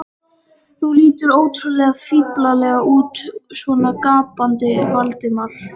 Þú lítur ótrúlega fíflalega út svona gapandi, Valdimar.